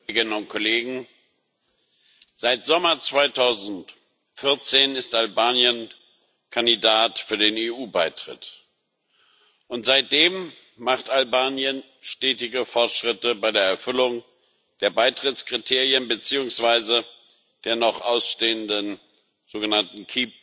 Herr Präsident, liebe Kolleginnen und Kollegen! Seit Sommer 2014 ist Albanien Kandidat für den EU Beitritt, und seitdem macht Albanien stetige Fortschritte bei der Erfüllung der Beitrittskriterien beziehungsweise der noch ausstehenden sogenannten